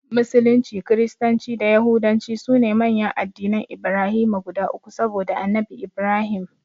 Musulunci, Kiristanci da Yahudanci sune manyan addinan Ibrahima guda uku saboda Annabi Ibrahim.